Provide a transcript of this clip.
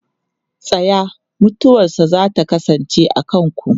Tsaya! Mutuwarsa za ta kasance a kanku.